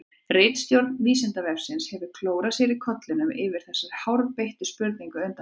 Ritstjórn Vísindavefsins hefur klórað sér í kollinum yfir þessari hárbeittu spurningu undanfarið.